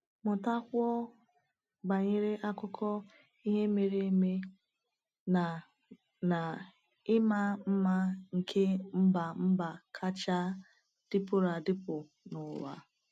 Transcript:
Mụtakwuo banyere akụkọ ihe mere eme na na ịma mma nke ḿbà mbà kacha dịpụrụ adịpụ n’ụwa.